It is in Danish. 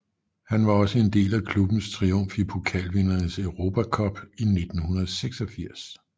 Han var også en del af klubbens triumf i Pokalvindernes Europa Cup i 1964